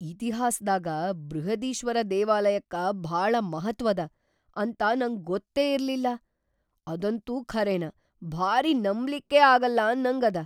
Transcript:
ಇತಿಹಾಸ್ದಾಗ ಬೃಹದೀಶ್ವರ ದೇವಾಲಯಕ್ಕ ಭಾಳ ಮಹತ್ವ್‌ ಅದ ಅಂತ ನಂಗ್ ಗೊತ್ತೇ ಇರ್ಲಿಲ್ಲಾ, ಅದಂತೂ ಖರೇನ ಭಾರೀ ನಂಬ್ಲಿಕ್ಕೆ ಆಗಲ್ಲ ಅನ್ನಂಗ್ ಅದ.